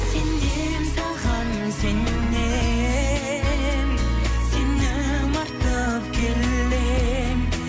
сенем саған сенем сенім артып келем